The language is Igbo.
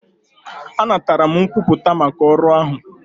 Anatara m nkwupụta maka ọrụ ahụ.